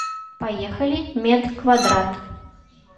поехали медквадрат